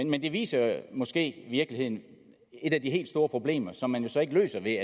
men det viser måske i virkeligheden et af de helt store problemer som man jo så ikke løser ved